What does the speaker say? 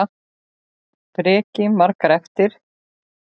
Breki: Margar eftir?